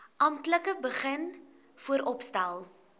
amptelik begin vooropstel